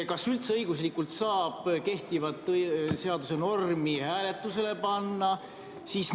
Kas üldse saab õiguslikult kehtivat seaduse normi hääletusele panna?